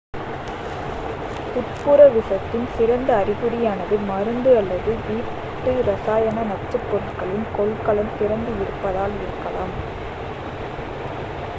உட்புற விஷத்தின் சிறந்த அறிகுறியானது மருந்து அல்லது வீட்டு இரசாயன நச்சுப்பொருட்களின் கொள்கலன் திறந்து இருப்பதால் இருக்கலாம்